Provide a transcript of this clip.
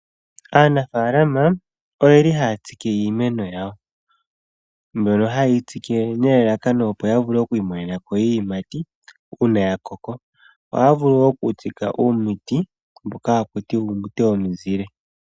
Aanafalama ohaatsike iimeno yawo ndjono hayeyi tsike opo yiimonene iiyimati ngele yakoko, ohaakunu woo uumuti womizile.